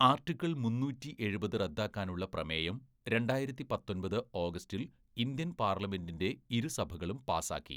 Article മുന്നൂറ്റി എഴുപത്‌ റദ്ദാക്കാനുള്ള പ്രമേയം രണ്ടായിരത്തി പത്തൊമ്പത്‌ ഓഗസ്റ്റിൽ ഇന്ത്യൻ പാർലമെന്റിന്റെ ഇരുസഭകളും പാസാക്കി.